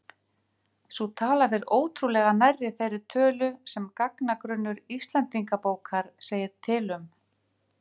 Sú tala fer ótrúlega nærri þeirri tölu sem gagnagrunnur Íslendingabókar segir til um.